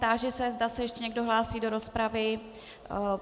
Táži se, zda se ještě někdo hlásí do rozpravy.